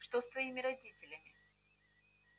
что с твоими родителями